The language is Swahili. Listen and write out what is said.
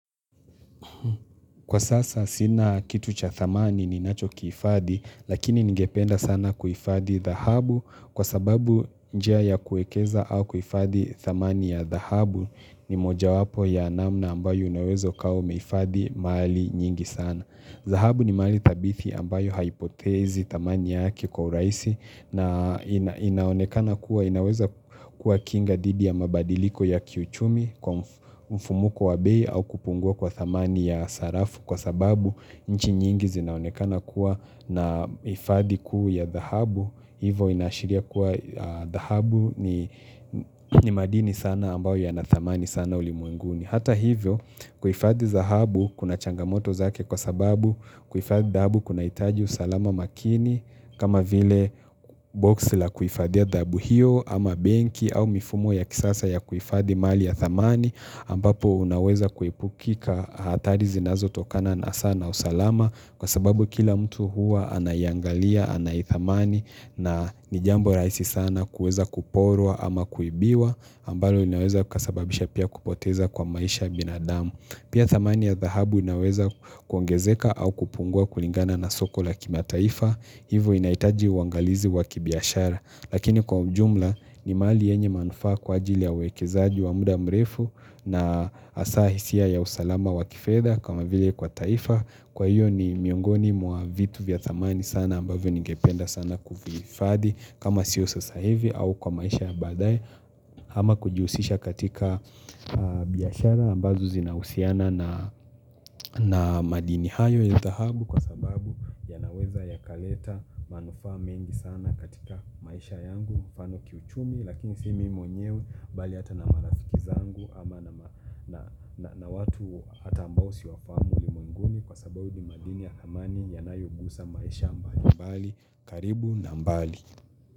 Kwa sasa, sina kitu cha thamani ni nacho kihifadhi, lakini ningependa sana kuhifadhi thahabu kwa sababu njia ya kuekeza au kuhifadhi thamani ya thahabu ni moja wapo ya namna ambayo unaweza ukawa umehifadhi mali nyingi sana. Dhahabu ni mali thabithi ambayo haipotezi thamani yake kwa urahisi na inaonekana kuwa inaweza kuwa kinga dihdi ya mabadiliko ya kiuchumi kwa mfu mfumuko wa bei au kupungua kwa thamani ya sarafu kwa sababu nchi nyingi zinaonekana kuwa na hifadhi kua ya dhahabu. Hivo inashiria kuwa dhahabu ni ni madini sana ambao ya na thamani sana ulimwenguni. Hata hivyo kuifadhi dahabu kuna changamoto zake kwa sababu kuhifadhi dhahabu kuna hitaji usalama makini kama vile box la kuhifadhia ya dhahabu hiyo ama benki au mifumo ya kisasa ya kuhifadhi mali ya thamani ambapo unaweza kuipukika hatari zinazo tokana na sana usalama Kwa sababu kila mtu huwa anaiangalia, anaithamani na ni jambo rahisi sana kuweza kuporwa ama kuibiwa ambalo inaweza kasababisha pia kupoteza kwa maisha binadamu Pia thamani ya dhahabu inaoweza kuongezeka au kupungua kulingana na soko la kimataifa. Hivo inhitaji uangalizi wa kibiashara Lakini kwa ujumla ni mali yenye manufaa kwa ajili ya uwekezaji wa muda mrefu na hasa hisia ya usalama wa kifedha kama vile kwa taifa. Kwa hiyo ni miongoni mwa vitu vya thamani sana ambavyo ningependa sana kuvihifadhi kama siyo sasa hivi au kwa maisha ya baadaye ama kujihusisha katika biashara ambazo zinahusiana na na madini hayo ya dhahabu Kwa sababu yanaweza ya kaleta manufaa mengi sana katika maisha yangu mfaano kiuchumi lakini si mimi mwenyewe bali hata na marafiki zangu ama nama na na watu hata ambao siwafahamu ulimwenguni Kwa sababu ni madini ya dhamani yanayogusa maisha mbali mbali, karibu na mbali.